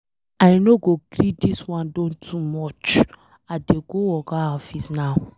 I no go gree dis wan don too much, I dey go oga office now.